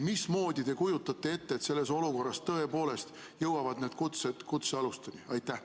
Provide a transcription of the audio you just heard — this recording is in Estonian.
Mismoodi te kujutate ette, et selles olukorras tõepoolest jõuavad need kutsed kutsealusteni?